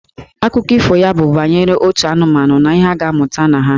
Akụkọ ifo ya bụ banyere otu anụmanụ na ihe a ga-amụta na ha.